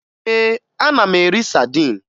Ee, ana m eri sadin